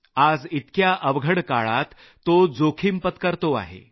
आज इतक्या अवघड काळात तो जोखिम पत्करतो आहे